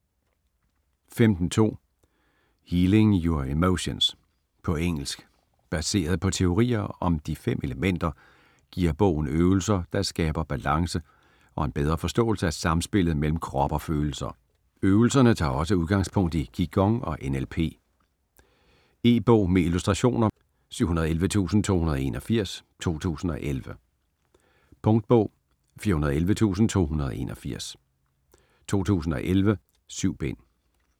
15.2 Healing your emotions På engelsk. Baseret på teorien om De fem elementer giver bogen øvelser, der skaber balance og en bedre forståelse af samspillet mellem krop og følelser. Øvelserne tager også udgangspunkt i Qi Gong og NLP. E-bog med illustrationer 711281 2011. Punktbog 411281 2011. 7 bind.